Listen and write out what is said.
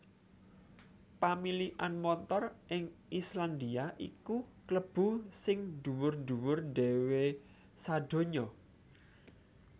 Pamilikan montor ing Islandia iku kalebu sing dhuwur dhuwur dhéwé sadonya